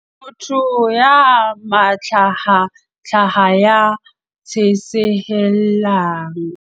motho ya mahlahahlaha ya tjhesehellang